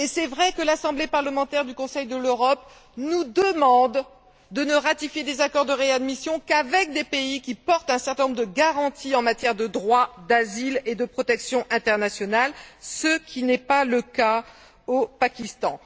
Et il est un fait que l'Assemblée parlementaire du Conseil de l'Europe nous demande de ne ratifier des accords de réadmission qu'avec des pays qui offrent un certain nombre de garanties en matière de droit d'asile et de protection internationale, ce qui n'et pas le cas au Pakistan.